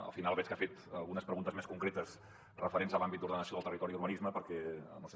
al final veig que ha fet algunes preguntes més concretes referents a l’àmbit de l’ordenació del territori i d’urbanisme perquè no ho sé